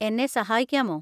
എന്നെ സഹായിക്കാമോ?